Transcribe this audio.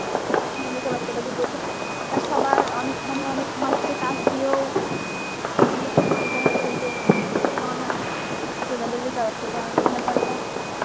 মানে বেকারত্বটা দূর করছে. তা সবার অনেক মানে অনেক মাপকে কাজ দিয়েও এই জিনিস এটা হচ্ছে যে সমাধান করতেসে তাদের বেকারত্বের ব্যাপারটা